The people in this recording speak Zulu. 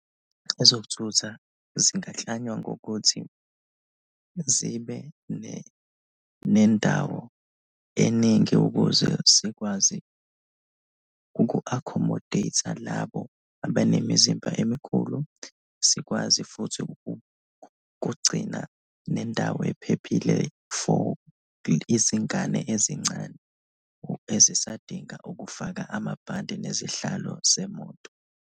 Ezokuthutha zingaklanywa ngokuthi zibe nendawo eningi ukuze zikwazi uku-accomodate-a labo abenemizimba emikhulu, sikwazi futhi ukugcina nendawo ephephile for izingane ezincane ezisadinga ukufaka amabhande nezihlalo zemoto.